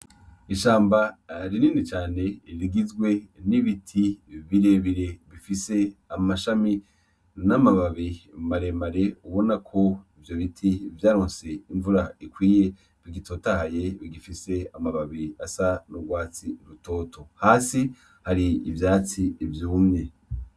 Ishamba rinindi cane irigizwe n'ibiti birebire bifise amashami n'amababi maremare ubona ko ivyo biti vyaronse imvura ikwiye bigitotaye bigifise amababi asa n'urwatsi rutoto hasi hari ivyatsi ivyumye.